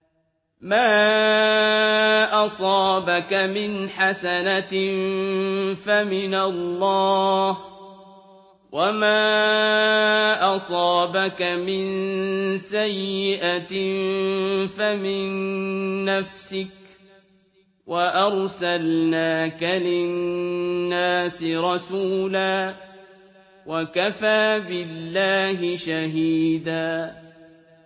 مَّا أَصَابَكَ مِنْ حَسَنَةٍ فَمِنَ اللَّهِ ۖ وَمَا أَصَابَكَ مِن سَيِّئَةٍ فَمِن نَّفْسِكَ ۚ وَأَرْسَلْنَاكَ لِلنَّاسِ رَسُولًا ۚ وَكَفَىٰ بِاللَّهِ شَهِيدًا